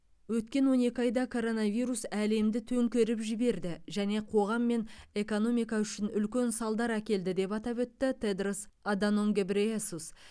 өткен он екі айда коронавирус әлемді төңкеріп жіберді және қоғам мен экономика үшін үлкен салдар әкелді деп атап өтті тедрос аданом гебрейесус